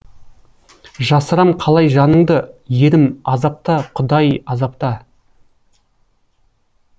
жасырам қалай жаныңды ерім азапта құдай азапта